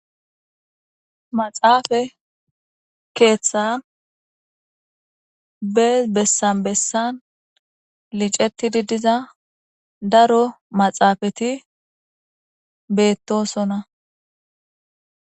Maxxaffe Keetha be besan besan lichetidi diza daro maxxaffeti beetosona